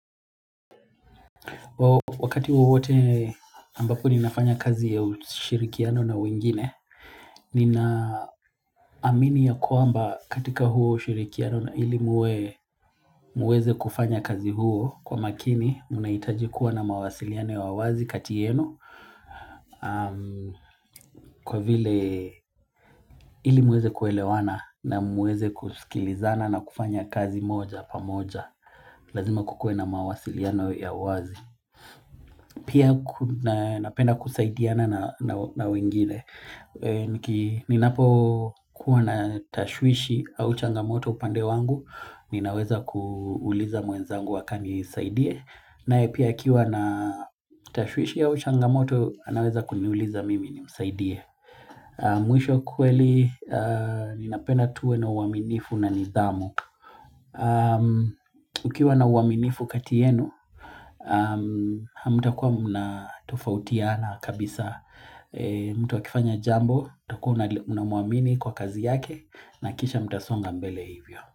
Wakati wowote ambapo ninafanya kazi ya ushirikiano na wengine, ninaamini ya kwamba katika huo ushirikiano na ili muwe muweze kufanya kazi huo kwa makini, munahitaji kuwa na mawasiliano ya wazi kati yenu, kwa vile ili mueze kuelewana na mueze kuskilizana na kufanya kazi moja pamoja, lazima kukue na mawasiliano ya wazi. Pia kuna napenda kusaidiana na wengine, niki ni napo kuwa na tashwishi au changamoto upande wangu, ninaweza kuuliza mwenzangu akanisaidie, nae pia akiwa na tashwishi au changamoto, anaweza kuniuliza mimi nimsaidie. Mwisho kweli, ninapena tuwe na uaminifu na nidhamu Ukiwa na uaminifu kati yenu, hamtakua mnatofautiana kabisa mtu akifanya jambo, utakua unamuamini kwa kazi yake na kisha mtasonga mbele hivyo.